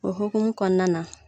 O hokumu kɔnɔna na.